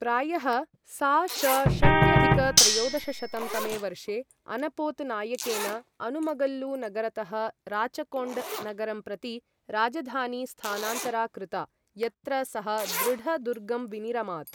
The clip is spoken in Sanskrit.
प्रायः सा.श.षष्ट्यधिक त्रयोदशशतं तमे वर्षे अनपोत नायकेन अनुमगल्लु नगरतः राचकोण्ड नगरं प्रति राजधानी स्थानान्तरा कृता, यत्र सः दृढ दुर्गं विनिरमात्।